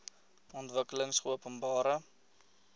ontwikkelingopenbare